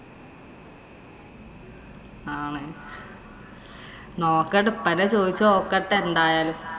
ആണ്. നോക്കട്ടെ. ഉപ്പാനെ ചോദിച്ചു നോക്കട്ടെ എന്തായാലും.